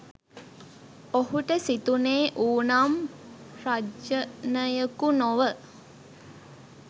ඔහුට සිතුනේ ඌ නම් රජනයකු නොව